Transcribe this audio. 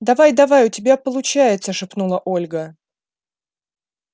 давай-давай у тебя получается шепнула ольга